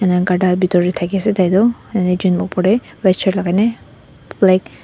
inai gharta bitor teh thakiase taitu ekjun red shirt lagane black .